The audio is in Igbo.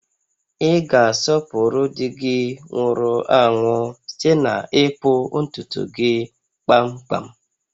Ị ga-asọpụrụ di gị nwụrụ anwụ site n'ịkpụ ntutu gị kpamkpam